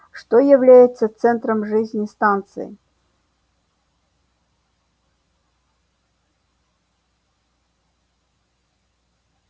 что является центром жизни станции